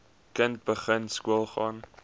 kind begin skoolgaan